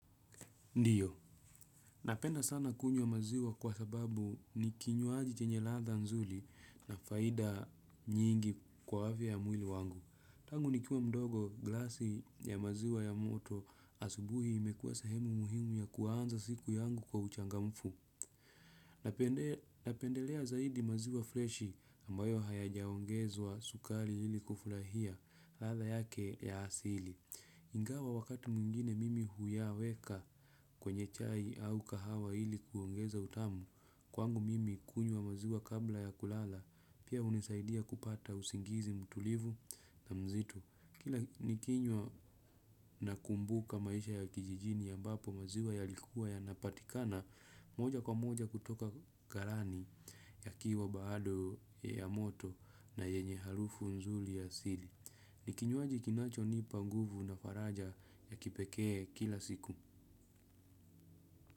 Ndiyo, napenda sana kunywa maziwa kwa sababu ni kinywaji chenye ladha nzuli na faida nyingi kwa afia ya mwili wangu. Tangu nikiwa mdogo glasi ya maziwa ya moto asubuhi imekuwa sehemu muhimu ya kuanza siku yangu kwa uchangamfu. Napend napendelea zaidi maziwa freshi ambayo hayajaongezwa sukari hili kufurahia ladha yake ya asili. Ingawa wakati mwingine mimi huyaweka kwenye chai au kahawa ili kuongeza utamu, kwangu mimi kunywa maziwa kabla ya kulala, pia hunisaidia kupata usingizi mtulivu na mzito. Kila nikinywa nakumbuka maisha ya kijijini ambapo maziwa yalikuwa yanapatikana, moja kwa moja kutoka galani yakiwa baado ya moto na yenye harufu nzuli ya asili. Ni kinywaji kinachonipa nguvu na faraja ya kipekee kila siku.